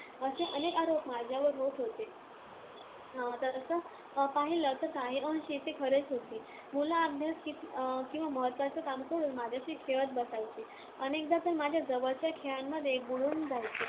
असे अनेक आरोप माझ्यावर होत होते. तसं पाहिलं तर काही अंशी ते खरेच होते. मुलं अभ्यास किंबा महत्त्वाची कामं सोडून माझ्याशी खेळत बसायचे. अनेकदा तर माझ्या जवळच्या खेळांमध्ये बुडून जायचे.